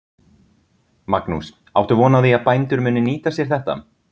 Magnús: Áttu von á því að bændur muni nýta sér þetta?